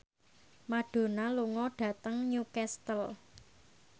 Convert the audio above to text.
Madonna lunga dhateng Newcastle